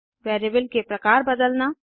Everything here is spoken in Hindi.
वेरिएबल के प्रकार बदलना